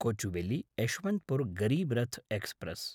Kochuveli Yesvantpur Garib Rath express